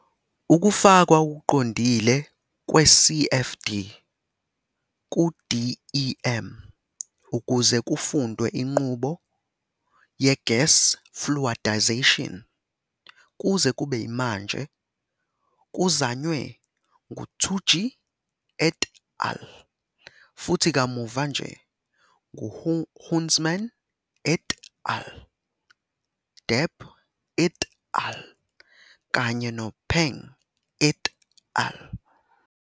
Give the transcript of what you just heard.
Ukufakwa okuqondile kwe-CFD ku-DEM ukuze kufundwe inqubo ye-gas fluidization kuze kube manje kuzanywe ngu-Tsuji et al. futhi kamuva nje nguHoomans et al., Deb et al. kanye noPeng et al.